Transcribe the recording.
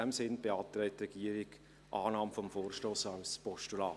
In diesem Sinne beantragt die Regierung Annahme des Vorstosses als Postulat.